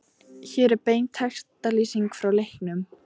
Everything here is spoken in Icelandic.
Hér er bein textalýsing frá leiknum